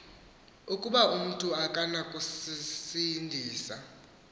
ukuba umntu akanakuzisindisa